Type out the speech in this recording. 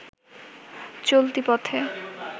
চলতি পথে